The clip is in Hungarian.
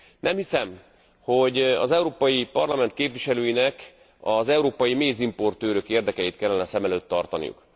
Nem hiszem, hogy az Európai Parlament képviselőinek az európai mézimportőrök érdekeit kellene szem előtt tartaniuk.